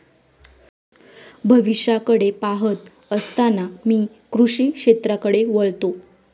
भविष्याकडे पाहत असताना मी कृषी क्षेत्राकडे वळतो.